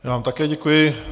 Já vám také děkuji.